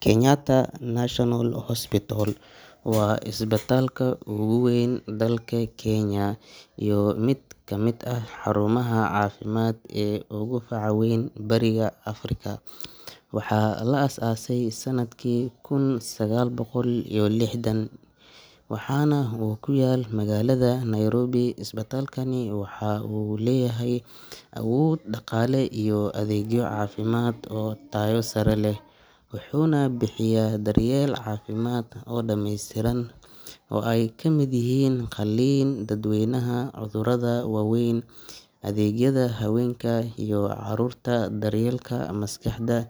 Kenyatta National Hospital waa isbitaalka ugu weyn dalka Kenya iyo mid ka mid ah xarumaha caafimaad ee ugu faca weyn Bariga Afrika. Waxaa la aasaasay sanadkii kun sagaal boqol iyo lixdan (1966), waxaana uu ku yaal magaalada Nairobi. Isbitaalkani waxa uu leeyahay awood dhaqaale iyo adeegyo caafimaad oo tayo sare leh, wuxuuna bixiya daryeel caafimaad oo dhamaystiran oo ay ka mid yihiin qalliin, daaweyn cudurada waaweyn, adeegyada haweenka iyo carruurta, daryeelka maskaxda,